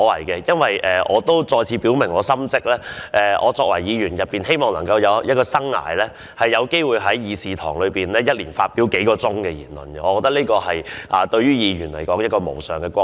我也要再次表明心跡，在我擔任議員的生涯中，每年能有機會在議事堂發表數小時的言論，對我作為議員來說已是無上光榮。